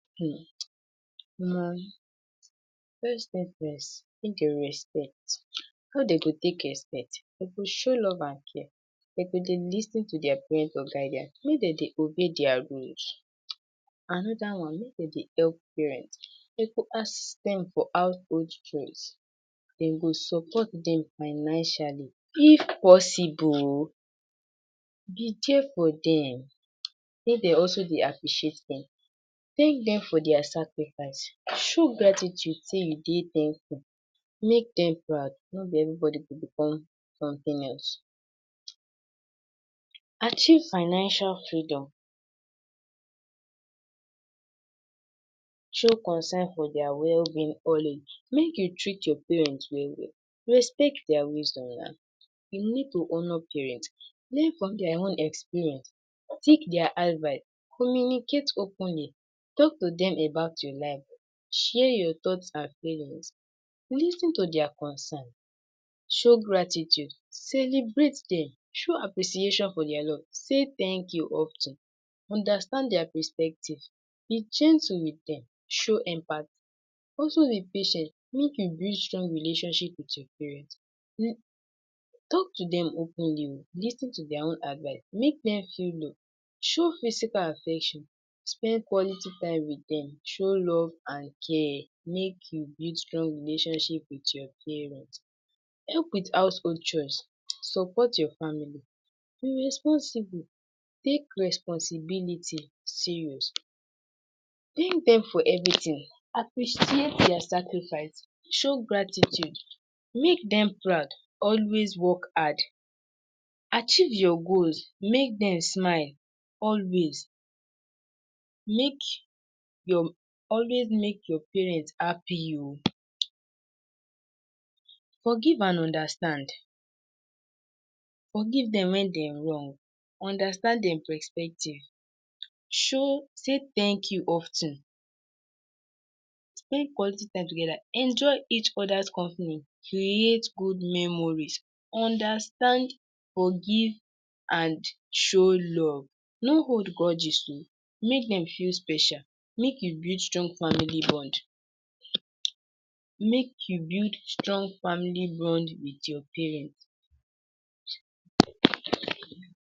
um omo first things first, make dey respect how dem go take respect dem go show love and care dem go dey lis ten to dia parents or guardian make dem dey obey dia88 rules. Another one make dem dey help parents dey go assist dem for household chores, dem go support dem financially, if possible ooo be dia for dem make dem also dey appreciate dem, thank dem for dia sacrifice show gratitude say you dey thankful, make dem proud no be everybody go become something else, achieve financial freedom, show concern for dia wellbeing always. Make you treat your parents well-well respect dia wisdom we need to honor parents learn from dia own experience take dia advice, communicate openly, talk to dem about your life, share your thoughts and feelings, lis ten to dia concern show gratitude, celebrate dem, show appreciation for dia, love say thank you of ten, understand dia perspective, be gentle with dem, show empathy, also be patient make you build strong relationship with your parents. Talk to dem openly ooo, lis ten to dia advice, make dem feel loved, show physical affection, spend quality time with dem, show love and care make you build strong relationship with your parents, help with household chores, support your family, be responsible take responsibility serious, thank dem for everything, appreciate dia sacrifice, show gratitude, make dem proud, always work hard. Achieve your goals, make dem smile always, make your always make your parents happy o, forgive and understand, forgive dem when dey wrong, understand dem perspective, show say thank you of ten, spend quality time together, enjoy each oda’s company, create good memories, understand, forgive and show love, no hold grudges ooo make dem feel special, make you build strong family bond make you build strong family bond with your parents.